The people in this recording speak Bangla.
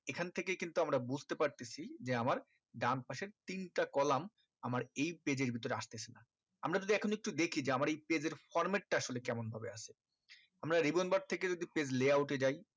এখন থেকে কিন্তু আমারা বুজতে পারতেছি যে আমার ডান পাশের তিনটা column আমার এই page এর ভিতরে আসতেছে না আমরা যদি এখন একটু দেখি যে আমার এই page এর format টা আসলে কেমন ভাবে আছে আমরা ribbon bar থেকে যদি page layout এ যায়